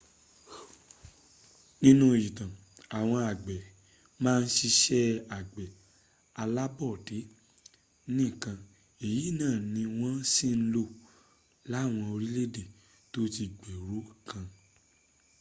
nínú ìtàn àwọn àgbẹ̀ ma ń siṣẹ́ àgbẹ̀ alábọ́dé nìkan èyí náà ni wọ́n sì ń lò láwọn orílẹ̀ tóti gbèrú kan